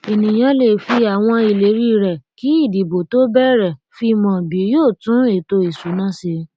ènìyàn lè fi àwọn ìlérí rẹ kì ìdìbò tó béèrè fi mọ bí yóò tún ètò ìsúná ṣe